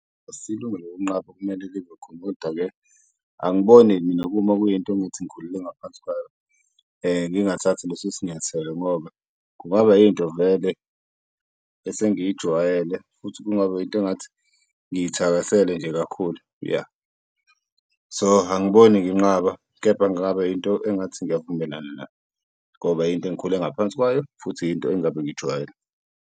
Asiyilungelo lokunqaba okumele libe khona kodwa-ke angiboni mina kuma kuyinto engithi ngikhulele ngaphansi kwayo ngingathathi leso sinyathelo ngoba kungaba yinto vele esengiyijwayele futhi kungaba into engathi ngiyithakasele nje kakhulu ya, so angiboni nginqaba, kepha ngingaba into engathi ngiyavumelana nayo ngoba into engikhule ngaphansi kwayo futhi into engabe ngijwayele.